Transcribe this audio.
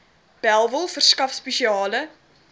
bellville verskaf spesiale